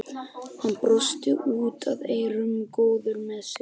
Hann brosti út að eyrum, góður með sig.